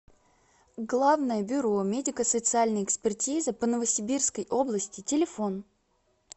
главное бюро медико социальной экспертизы по новосибирской области телефон